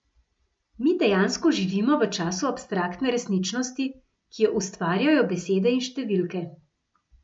Mi dejansko živimo v času abstraktne resničnosti, ki jo ustvarjajo besede in številke.